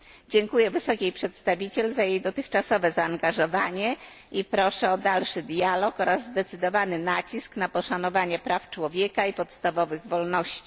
Dziękuję Wysokiej Przedstawiciel za jej dotychczasowe zaangażowanie i proszę o dalszy dialog oraz zdecydowany nacisk na poszanowanie praw człowieka i podstawowych wolności.